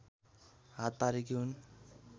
हात पारेकी हुन्